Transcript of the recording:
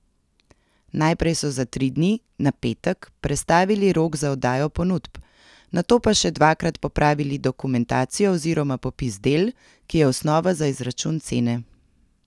Najprej so za tri dni, na petek, prestavili rok za oddajo ponudb, nato pa še dvakrat popravili dokumentacijo oziroma popis del, ki je osnova za izračun cene.